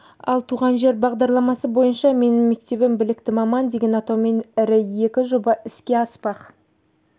ал туған жер бағдарламасы бойынша менің мектебім білікті маман деген атаумен ірі екі жоба іске аспақ